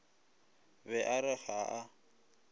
be a re haa a